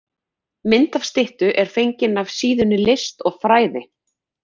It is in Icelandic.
Mynd af styttu er fengin af síðunni List og fræði.